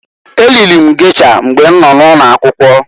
E riri m gesha mgbe m nọ n'ụlọakwụkwọ.